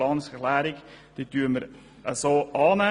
Planungserklärung 7 werden wir annehmen.